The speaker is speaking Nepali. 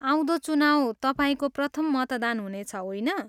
आउँदो चुनाउ तपाईँको प्रथम मतदान हुनेछ, होइन?